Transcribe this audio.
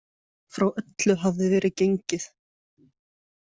Frá öllu hafði verið gengið.